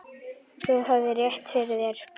Þú hafðir rétt fyrir þér.